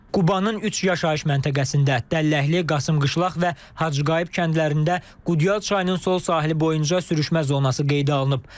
Qubanın üç yaşayış məntəqəsində Dəlləkli, Qasımqışlaq və Hacıqayıb kəndlərində Qudyal çayının sol sahili boyunca sürüşmə zonası qeydə alınıb.